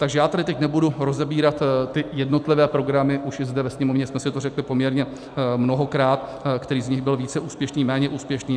Takže já tady teď nebudu rozebírat ty jednotlivé programy, už i zde ve Sněmovně jsme si to řekli poměrně mnohokrát, který z nich byl více úspěšný, méně úspěšný.